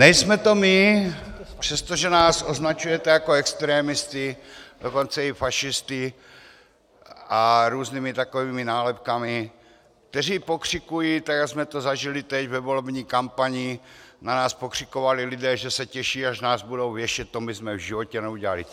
Nejsme to my, přestože nás označujete jako extremisty, dokonce i fašisty a různými takovými nálepkami, kteří pokřikují, tak jak jsme to zažili teď ve volební kampani, na nás pokřikovali lidé, že se těší, až nás budou věšet, to my jsme v životě neudělali.